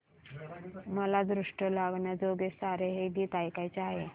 मला दृष्ट लागण्याजोगे सारे हे गीत ऐकायचे आहे